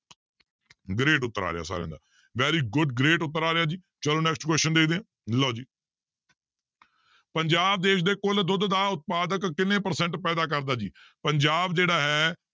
great ਉੱਤਰ ਆ ਰਿਹਾ ਸਾਰਿਆਂ ਦਾ very good great ਉੱਤਰ ਆ ਰਿਹਾ ਜੀ ਚਲੋ next question ਦੇਖਦੇ ਹਾਂ ਲਓ ਜੀ ਪੰਜਾਬ ਦੇਸ ਦੇ ਕੁੱਲ ਦੁੱਧ ਦਾ ਉਤਪਾਦਕ ਕਿੰਨੇ percent ਪੈਦਾ ਕਰਦਾ ਜੀ ਪੰਜਾਬ ਜਿਹੜਾ ਹੈ